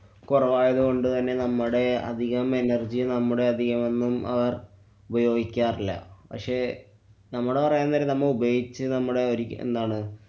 കുറവായതുകൊണ്ട് തന്നെ നമ്മുടെ അധികം energy നമ്മുടെ അധികമൊന്നും അവര്‍ ഉപയോഗിക്കാറില്ല. പക്ഷെ നമ്മടെ പറയാന്‍ നേരം നമ്മളു ഉപയോഗിച്ചു നമ്മളെ ഒരി~ എന്താണ്